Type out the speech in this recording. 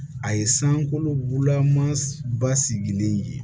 A ye sankololaman ba sigilen ye